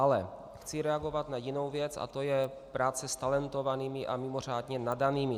Ale chci reagovat na jinou věc a to je práce s talentovanými a mimořádně nadanými.